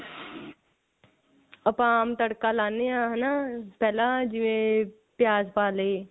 ਆਪਾਂ ਉਹਨੂੰ ਤੜਕਾ ਲਾਨੇ ਆ ਹਨਾ ਪਹਿਲਾਂ ਜਿਵੇਂ ਪਿਆਜ ਪਾ ਲਏ